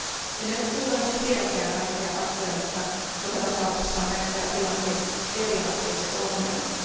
Emme luultavasti tiedäkään kaikkia faktoja, mutta joka tapauksessa on nähtävä tilanteen periaatteelliset ongelmat.